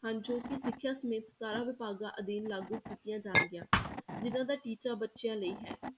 ਹਨ, ਜੋ ਕਿ ਸਿੱਖਿਆ ਸਮੇਤ ਸਤਾਰਾਂ ਵਿਭਾਗਾਂ ਅਧੀਨ ਲਾਗੂ ਕੀਤੀਆਂ ਜਾਣਗੀਆਂ, ਜਿੰਨਾਂ ਦਾ ਟੀਚਾ ਬੱਚਿਆਂ ਲਈ ਹੈ।